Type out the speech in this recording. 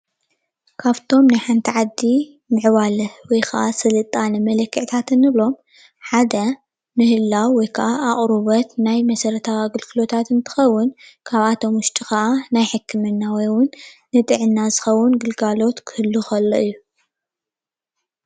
ካብቶም ናይ ሓንቲ ዓዲ ምዕባለ ወይከዓ ስልጣነ መለክዕታት እንብሎም ሓደ ምህላው ወይከዓ ኣቅርቦት ናይ መሰረታዊ ኣገልግሎታት እንትኸውን ካብኣቶም ውሽጢ ከዓ ናይ ሕከምና ወይእውን ንጥዕናና ዝኸውን ግልጋሎት ክህሉ ከሎ እዩ።